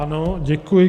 Ano, děkuji.